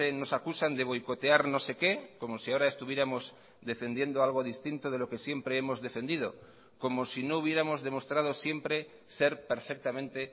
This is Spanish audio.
nos acusan de boicotear no sé qué como si ahora estuviéramos defendiendo algo distinto de lo que siempre hemos defendido como si no hubiéramos demostrado siempre ser perfectamente